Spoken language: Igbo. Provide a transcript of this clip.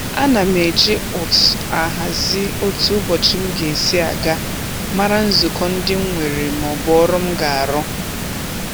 Ana m eji ụtụt ahazi otu ụbọchị m ga-esi aga, mara nzukọ ndị m nwere maọbụ ọrụ m ga-arụ